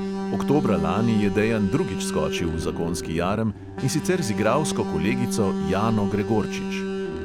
Oktobra lani je dejan drugič skočil v zakonski jarem, in sicer z igralsko kolegico jano gregorčič.